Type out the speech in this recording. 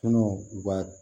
Tɔnɔ u ka